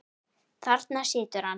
Þarna situr hann.